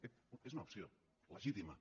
ep és una opció legítima